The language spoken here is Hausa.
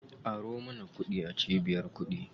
Aro mana kuɗi a cibiyar kuɗi.